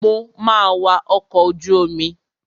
Mo ma wa ọkọ̀ ojú omi.